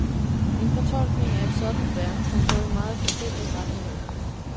En fortolkning af et sådant værk kan gå i meget forskellige retninger.